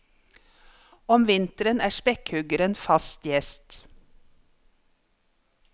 Om vinteren er spekkhuggeren fast gjest.